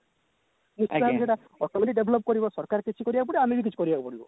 ନିଶ୍ଚିନ୍ତ ଭାବେ ସେଟା automatic develop କରିବ ସରକାର କିଛି କରିବାକୁ ପଡିବ ଆମେ ବି କିଛି କରିବାକୁ ପଡିବ